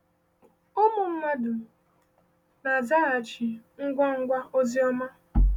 Ụmụ mmadụ na-azaghachi ngwa ngwa ozi ọma.